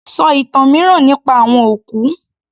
Sọ ìtàn mìíràn nípa àwọn òkú